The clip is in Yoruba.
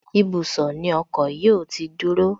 Ibùsọ̀ ni ọkọ̀ yóò ti dúró